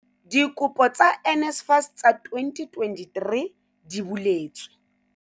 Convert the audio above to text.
Dikopo tsa NSFAS tsa 2023 di buletswe